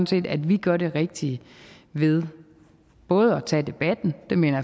set at vi gør det rigtige ved både tage at debatten det mener